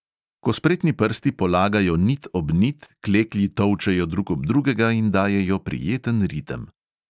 Ko spretni prsti polagajo nit ob nit, kleklji tolčejo drug ob drugega in dajejo prijeten ritem.